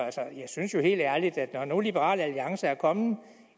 jeg synes helt ærligt at når nu liberal alliance er kommet